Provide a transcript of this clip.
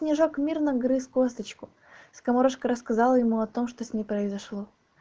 снежок мирно грыз косточку скоморошка рассказала ему о том что с ней произошло